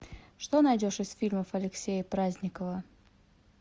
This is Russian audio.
что найдешь из фильмов алексея праздникова